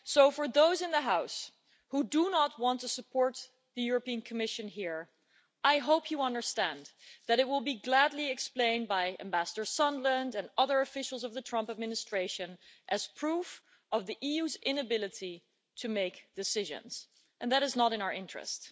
For those in the House who do not want to support the European Commission here, I hope you understand that it will be gladly explained by Ambassador Sondland and other officials of the Trump administration as proof of the EU's inability to make decisions, and that is not in our interest.